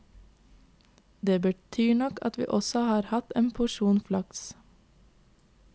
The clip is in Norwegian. Det betyr nok at vi også har hatt en porsjon flaks.